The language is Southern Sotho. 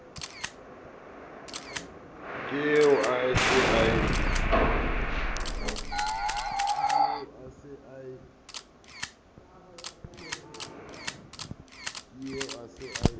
ke eo a se a